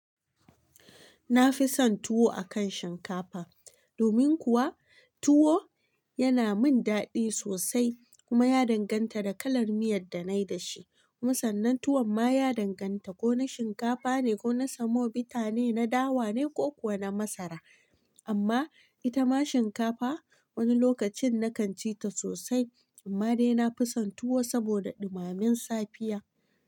Na fi son tuwo a kan shinkafa. Domin kuwa, tuwo yana min daɗi sosai kuma ya danganta da kalar miyar da na yi da shi. Musannin tuwon ma ya danganta ko na shinkafa ne, ko na semobita ne, na dawa ne ko kuwa na masara. Amma ita ma shinkafa wani lokacin na kan ci ta sosai amma dai na fi son tuwo saboda ɗumammen safiya.